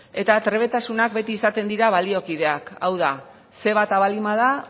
eta trebetasunak beti izaten dira baliokideak hau da ce bata baldin bada